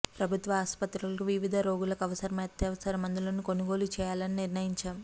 ప్రభుత్వ ఆసుపత్రులకు వివిధ రోగాలకు అవసరమైన అత్యవసర మందులను కొనుగోలు చేయాలని నిర్ణయించాం